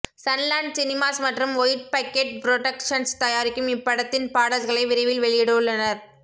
Sun Land Cinemas மற்றும் White Bucket Productions தயாரிக்கும் இப்படத்தின் பாடல்களை விரைவில் வெளியிட உள்ளனர்